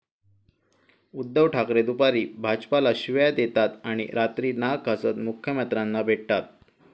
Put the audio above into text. उद्धव ठाकरे दुपारी भाजपला शिव्या देतात आणि रात्री नाक घासत मुख्यमंत्र्यांना भेटतात'